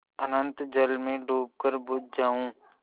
अनंत जल में डूबकर बुझ जाऊँ